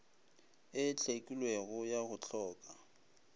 e hlwekilego ya go hloka